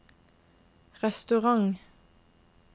restaurant